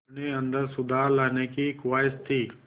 अपने अंदर सुधार लाने की ख़्वाहिश थी